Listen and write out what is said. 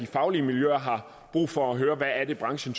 faglige miljøer har brug for at høre hvad branchen